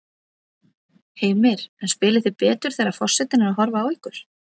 Heimir: En spilið þið betur þegar að forsetinn er að horfa á ykkur?